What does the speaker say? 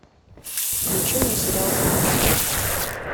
включи мне сериал убийство